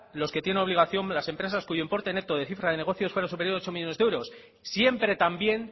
los que tienen obligación las empresas cuyo importe neto de cifra de negocio fuera superior a ocho millónes de euros siempre también